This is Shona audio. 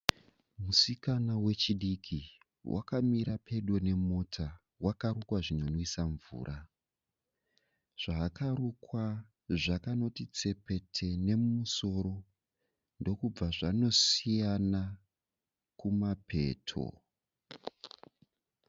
Musikana wechidiki. Wakamira pedo nemota. Wakarukwa zvinonwisa mvura. Zvaakarukwa zvakanoti tsepete nemusosro ndokubva zvanosiyana kumapeto.